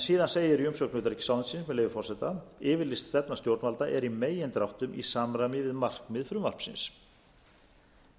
síðan segir í umsögn utanríkisráðuneytisins með leyfi forseta yfirlýst stefna stjórnvalda er í megindráttum í samræmi við markmið frumvarpsins